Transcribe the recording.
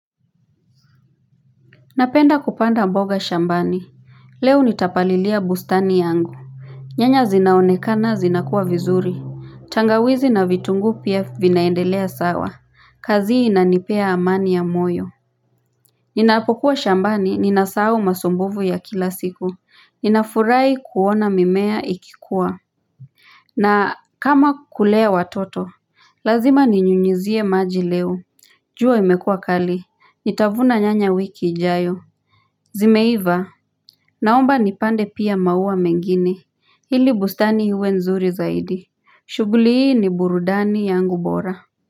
Napenda kupanda mboga shambani Leo nitapalilia bustani yangu nyanya zinaonekana zinakuwa vizuri tangawizi na vitunguu pia vinaendelea sawa, kazi inanipea amani ya moyo Ninapokuwa shambani ninasahau masumbuvu ya kila siku, ninafurahi kuona mimea ikikuwa na kama kulea watoto, lazima ninyunyizie maji leo jua imekua kali, nitavuna nyanya wiki ijayo Zimeiva Naomba nipande pia maua mengine. Ili bustani iwe nzuri zaidi. Shughuli hii ni burudani yangu bora.